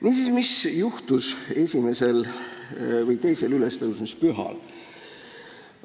Niisiis, mis juhtus esimesel või teisel ülestõusmispühal?